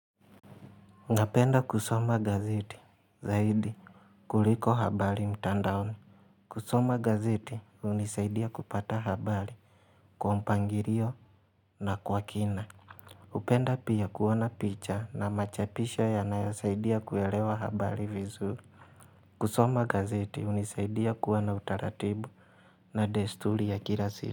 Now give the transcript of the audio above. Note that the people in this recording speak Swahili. Napenda kusoma gazeti zaidi kuliko habari mtandaoni kusoma gazeti unisaidia kupata habari kwa mpangilio na kwa kina hupenda pia kuona picha na machapisho yanayo saidia kuelewa habari vizuri. Kusoma gazeti unisaidia kuwa na utaratibu na desturi ya kila siku.